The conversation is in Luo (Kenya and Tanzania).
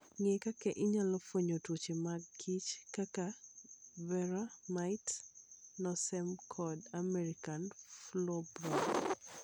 Ng'e kaka inyalo fwenyo tuoche mag kich kaka Varroa mites, Nosema, kod American foulbrood.